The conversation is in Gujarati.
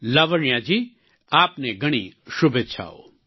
લાવણ્યા જી આપને ઘણી શુભેચ્છાઓ